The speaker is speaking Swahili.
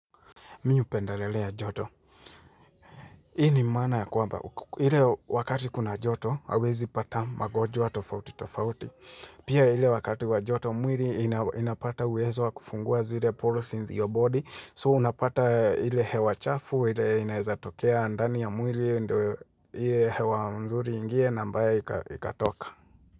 Mimi hupendalelea joto hii ni maana ya kwamba ile wakati kuna joto hauwezi pata magonjwa tofauti tofauti pia ile wakati wa joto mwili inapata uwezo wa kufungua zile pores in your body so unapata ile hewa chafu ile inezatokea ndani ya mwili ndo ile hewa mzuri ingie na mbaya ikatoka.